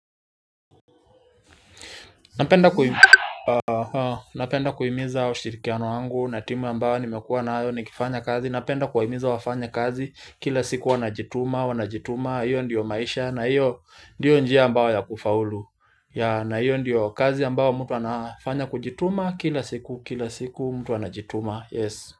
Napenda kuhimiza ushirikiano wangu na timu ambayo nimekuwa nayo nikifanya kazi napenda kuwahimiza wafanyakazi kila siku wanajituma wanajituma hiyo ndio maisha na hiyo ndiyo njia ambayo ya kufaulu na hiyo ndiyo kazi ambayo mtu anafanya kujituma kila siku kila siku mtu anajituma.